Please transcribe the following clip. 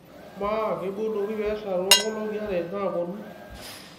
amaa keibonuoki peesha toonkolong'i are naapuonu